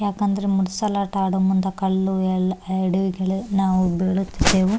ಯಾಕಂದ್ರೆ ಮೂಡಸಲಾಟ ಆಡೋ ಮುಂದ ಕಲ್ಲು ಎಲ್ಲ ಎಡವಿಗಳು ನಾವು ಬೀಳುತ್ತೇವೆ .